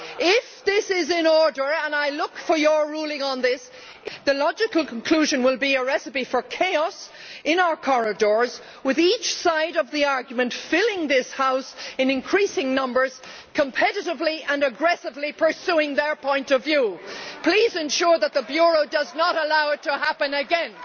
If this is permissible and I would ask for your ruling on this the logical conclusion will be a recipe for chaos in our corridors, with those on each side of the argument filling this House in increasing numbers and competitively and aggressively pursuing their points of view. Please ensure that the Bureau does not allow it to happen again.